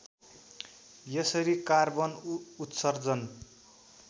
यसरी कार्बन उत्सर्जन